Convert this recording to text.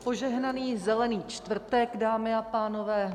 Požehnaný Zelený čtvrtek, dámy a pánové.